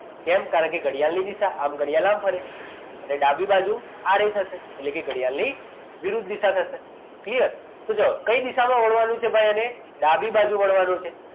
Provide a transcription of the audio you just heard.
કેમ કારણકે ઘડિયાળ ની દિશા આમ ઘડિયાળ આમ ફરે અને ડાબી બાજુ આમ થશે એટલે કે ઘડિયાળની વિરુદ્ધ દિશા થશે clear તો જુઓ કઈ દિશામાં વળવાનું છે ભાઈ અને ડાબી બાજુ વળવાનું છે